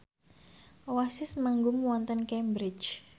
Oasis manggung wonten Cambridge